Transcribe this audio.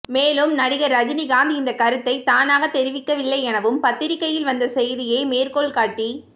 மேலும் நடிகர் ரஜினிகாந்த் இந்தக் கருத்தை தானாக தெரிவிக்கவில்லை எனவும் பத்திரிக்கையில் வந்த செய்தியே மேற்கோள் காட்டி